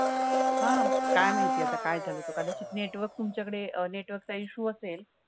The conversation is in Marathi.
हा काय माहिती आता काय झाल ते कदाचित network तुमच्याकडे अ network चा issue असेल.